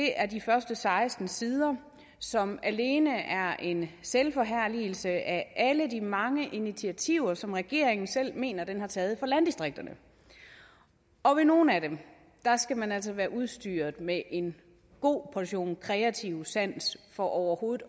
er de første seksten sider som alene er en selvforherligelse af alle de mange initiativer som regeringen selv mener den har taget for landdistrikterne nogle af dem skal man altså være udstyret med en god portion kreativ sans for overhovedet